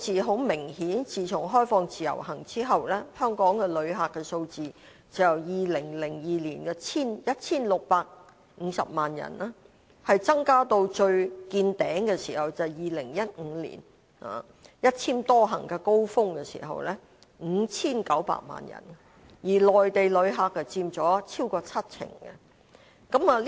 很明顯，自從開放自由行之後，香港的旅客數字就由2002年的 1,650 萬人增加至2015年"一簽多行"最高峰時的 5,900 萬人，內地旅客佔了超過七成。